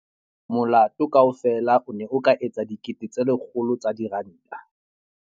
Molato kaofela o ne o ka etsa R100 000.